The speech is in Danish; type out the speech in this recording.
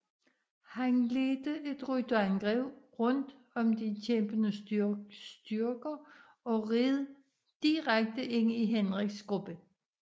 Han ledte et rytterangreb rundt om de kæmpende styrker og red direkte ind i Henriks gruppe